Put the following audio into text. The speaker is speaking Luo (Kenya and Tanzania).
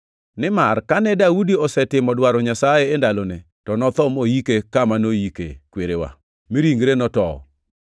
“Nimar kane Daudi osetimo dwaro Nyasaye e ndalone, to notho moike kama noyike kwerene, mi ringre notowo,